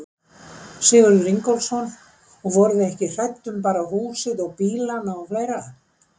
Sigurður Ingólfsson: Og voruð þið ekki hrædd um bara húsið og bílana og fleira?